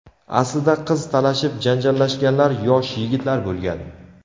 Aslida qiz talashib janjallashganlar yosh yigitlar bo‘lgan.